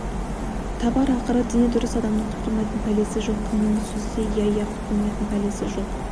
табар ақыры дені дұрыс адамның құтылмайтын пәлесі жоқ кімнің сөзі еді иә иә құтылмайтын пәлесі жоқ